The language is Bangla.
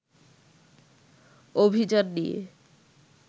অভিযান নিয়ে